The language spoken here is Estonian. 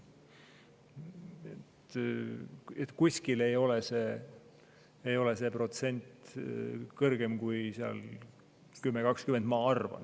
Kuskil ei ole see protsent kõrgem kui 10–20, ma arvan.